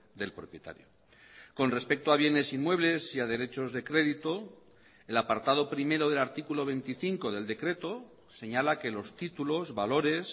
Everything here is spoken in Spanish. del propietario con respecto a bienes inmuebles y a derechos de crédito el apartado primero del artículo veinticinco del decreto señala que los títulos valores